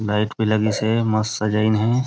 Light भी लगिस हे मस्त सजाइन हे।